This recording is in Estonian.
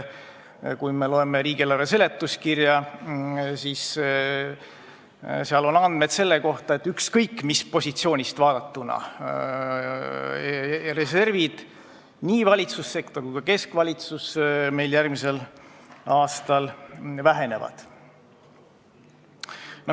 Kui me loeme riigieelarve eelnõu seletuskirja, siis seal on andmed selle kohta, et ükskõik mis positsioonist vaadatuna valitsussektori reservid meil järgmisel aastal vähenevad.